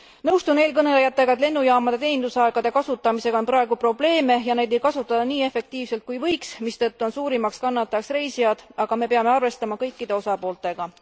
Nõustun eelkõnelejatega, et lennujaamade teenindusaegade kasutamisega on praegu probleeme ja neid ei kasutata nii efektiivselt kui võiks, mistõttu on suurimaks kannatajaks reisijad, aga me peame arvestama kõikide osapooltega.